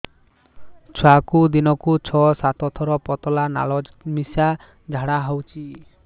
ଛୁଆକୁ ଦିନକୁ ଛଅ ସାତ ଥର ପତଳା ନାଳ ମିଶା ଝାଡ଼ା ହଉଚି